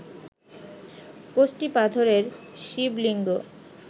কষ্টি পাথরের শিবলিঙ্গ